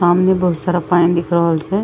सामने बहुत सारा पानी दिख रहल छे।